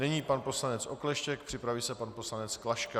Nyní pan poslanec Okleštěk, připraví se pan poslanec Klaška.